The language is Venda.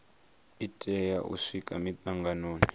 i tea u swika mitanganoni